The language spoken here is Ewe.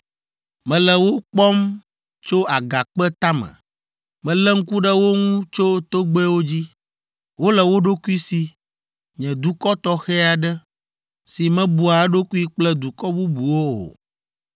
Mele wo kpɔm tso agakpe tame. Melé ŋku ɖe wo ŋu tso togbɛwo dzi, wole wo ɖokui si, nye dukɔ tɔxɛ aɖe. Si mebua eɖokui kple dukɔ bubuwo o.